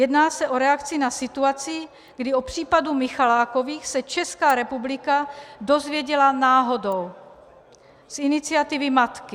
Jedná se o reakci na situaci, kdy o případu Michalákových se Česká republika dozvěděla náhodou z iniciativy matky.